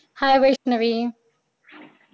hi Vaishnavi